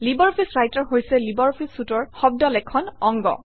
LibreOffice writer হৈছে LibreOffice Suite অৰ শব্দ লেখন অংগ